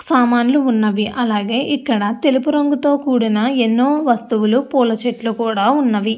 సమన్లు ఉన్నవి అలాగే ఇక్కడ తెలుపు రంగుతో కూడిన ఎన్నో వస్తువులు పూల చెట్లు ఉన్నవి.